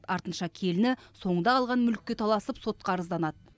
артынша келіні соңында қалған мүлікке таласып сотқа арызданады